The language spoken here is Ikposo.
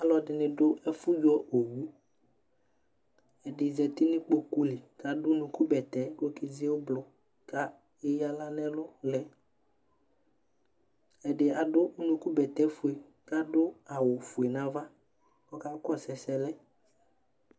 ɔlʋɛdini dʋ ɛƒʋ yɔ ɔwʋ, ɛdi zati nʋ ikpɔkʋ li kʋ adʋ ʋnʋkʋ bɛtɛ kʋ ɔkɛ dzi ɔblɔ kʋ ɛya ala nʋ ɛlʋ lɛ, ɛdi adʋ ʋnʋkʋ bɛtɛ ƒʋɛ kʋ adʋ awʋ ƒʋɛ nʋ aɣa kʋ ɔkakɔsʋ ɛsɛ lɛ